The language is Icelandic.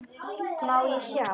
Má ég sjá?